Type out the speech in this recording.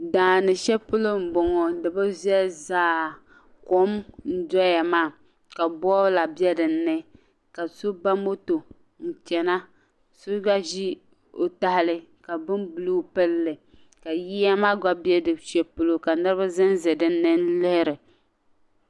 Daani shɛli polo m bo ŋɔ di bi viɛlli zaa kom n doya maa ka boola be din ni ka so ba moto n chana so gba ʒi o tahali ka bin buluu pili li ka yiya gba be shɛli polo ka Niribi zanza din ni lihiri.